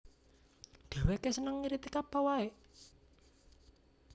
Dhèwèké seneng ngritik apa waé